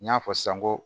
N y'a fɔ san n ko